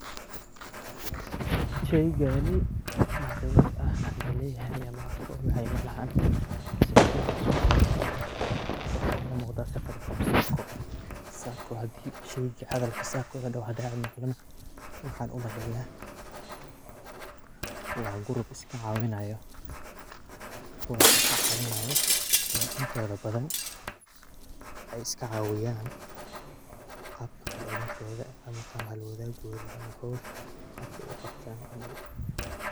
Sheygani wax khibrad ah oo aan u leyahay ma arko ,lakini haddii aan isku dayo halkan waxaa iiga muqdaa safaricom sacco . Hadalka ama sheyga sacco la dhaho haddii aan maqlo nah, waxaan u maleyaa waa group iska cawinaayo ,kuwaas oo ka cawinaayo, intooda badan in ay iska cawiyaan xirirkooda ama hawl wadagooda ama hawshooda qabka ay u qabtaan.